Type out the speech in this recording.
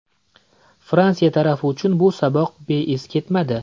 Fransiya tarafi uchun bu saboq beiz ketmadi.